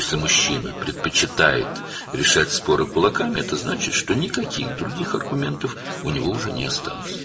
Əgər kişi mübahisələri yumruqlarla həll etməyə üstünlük verirsə, bu o deməkdir ki, onun başqa heç bir arqumenti qalmayıb.